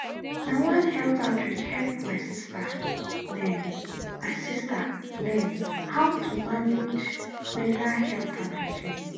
na one health outreach help my sister learn my sister learn how to manage menstrual health and hygiene.